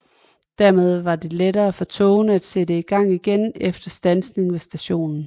Dermed var det lettere for togene at sætte i gang igen efter standsning ved stationen